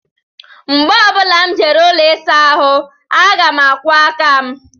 Mgbe ọ bụla m jere ụlọ ịsa ahụ aga m akwọ aka m